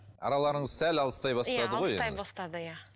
араларыңыз сәл алыстай бастады ғой алыстай бастады иә